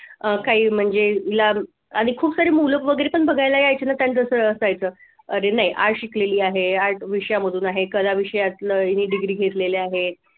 काही म्हणजे तिला आणि खूप सारी मुलं वगैरे पण बघायला यायचे ना त्यांच्या सरळ असायचं अरे नाही art शिकलेली आहे art विषयांमधून आहे कला विषयातल ही degree घेतलेली आहे.